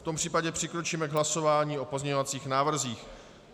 V tom případě přikročíme k hlasování o pozměňovacích návrzích.